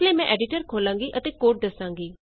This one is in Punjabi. ਇਸ ਲਈ ਮੈਂ ਐਡੀਟਰ ਖੋਲ੍ਹਾਂਗੀ ਅਤੇ ਕੋਡ ਦਸਾਂਗੀ